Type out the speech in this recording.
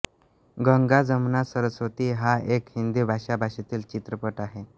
गंगा जमुना सरस्वती हा एक हिंदी भाषा भाषेतील चित्रपट आहे